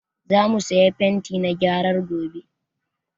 Za mu saya fenti na gyaran gobe